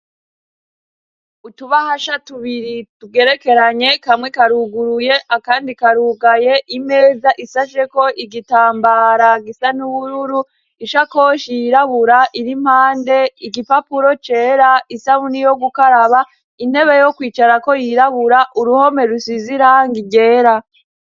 Utubahasha tubiri tugerekeranye kamwe karuguruye akandi karugaye imeza isasheko igitambara gisa n'ubururu ishakoshi yirabura iri mpande igipapuro cera isabuni yo gukaraba intebe yo kwicara ko yirabura uruhome rusize irangi ryera.